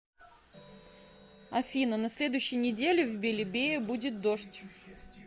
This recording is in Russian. афина на следующей неделе в белебее будет дождь